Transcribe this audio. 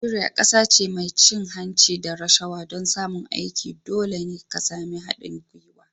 Najeriya kasa ce mai cin hanci da rashawa. don samun aiki dole ne ka sami haɗin gwiwa